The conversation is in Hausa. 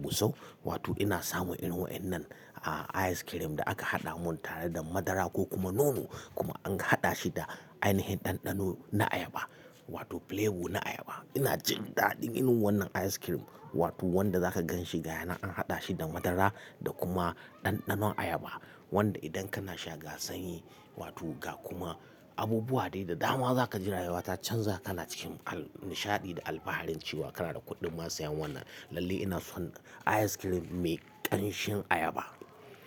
gusau, wato ina samun irin waɗannan, ah, ice cream da aka haɗa mun tare da madara ko kuma nono. Kuma an haɗa shi da ainihin ɗanɗano na ayaba, wato flavor na ayaba. Ina jin daɗin yin wannan ice cream wato wanda zaka gan shi gaya na an haɗa shi da madara da kuma ɗanɗanon ayaba. Wanda idan kana sha ga sanyi wato ga kuma abubuwa dai da dama za ka ji rayuwa ta canza ka na cikin al-- nishaɗi da alfaharin cewa kana da kuɗin ma sayan wannan. Lalle ina son ice cream mai ƙanshin ayaba.